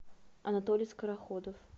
анатолий скороходов